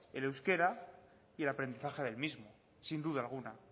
el euskera y el aprendizaje del mismo sin duda alguna